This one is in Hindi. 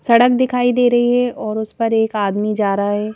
सड़क दिखाई दे रही है और उस पर एक आदमी जा रहा है ।